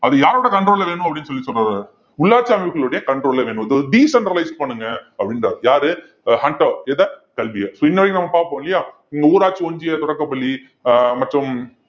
அது யாரோட control ல வேணும் அப்படின்னு சொல்லி சொல்ற~ உள்ளாட்சி அமைப்புகளுடைய control ல வேணும் decentralise பண்ணுங்க அப்படின்றாரு யாரு ஹண்டர் எத கல்வியை so இன்ன வரைக்கும் நம்ம பார்ப்போம் இல்லையா ஊராட்சி ஒன்றிய தொடக்கப்பள்ளி ஆஹ் மற்றும்